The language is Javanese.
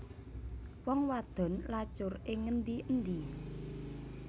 Wong wadon lacur ing ngendi endi